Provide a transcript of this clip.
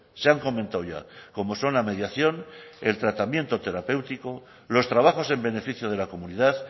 se han comentado ya como son la mediación el tratamiento terapéutico los trabajos en beneficio de la comunidad